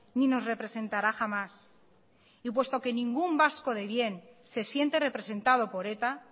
ni nos representará jamás y puesto que ningún vasco de bien se siente representado por eta